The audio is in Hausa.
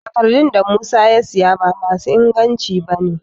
Takardun da Musa ya siya ba ma su inganci ba ne